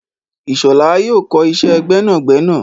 Ishola yóò kọ iṣẹ́ gbẹ́nàgbẹnà.